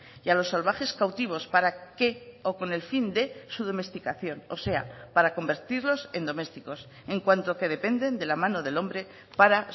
y a los salvajes cautivos para que o con el fin de su domesticación o sea para convertirlos en domésticos en cuanto que dependen de la mano del hombre para